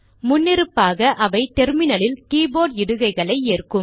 முன்னிருப்பாக அவை டெர்மினலில் கீபோர்ட் இடுகைகளை ஏற்கும்